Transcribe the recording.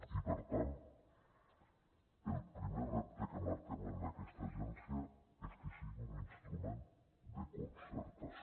i per tant el primer repte que marquem en aquesta agència és que sigui un instrument de concertació